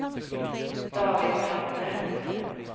David Melander